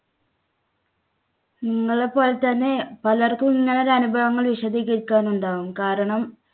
ങ്ങളെപ്പോലെ തന്നെ പലർക്കും ഇങ്ങനെ ഒരു അനുഭവങ്ങൾ വിശദീകരിക്കാൻ ഉണ്ടാവും കാരണം